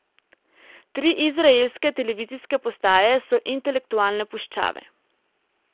Tri izraelske televizijske postaje so intelektualne puščave.